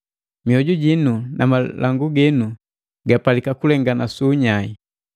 Mioju jinu na malangu ginu gapalika kulenganake su unyai.